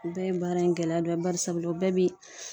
O bɛɛ ye baara in gɛlɛya dɔ ye bari sabula o bɛɛ bi